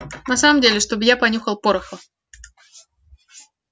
на самом деле чтобы я понюхал пороху